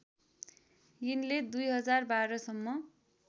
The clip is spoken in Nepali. यिनले २०१२ सम्म